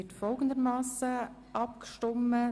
Wir gehen folgendermassen vor: